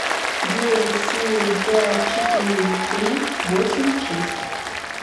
девять семь пять четыре три восемь шесть